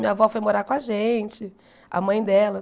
Minha avó foi morar com a gente, a mãe dela.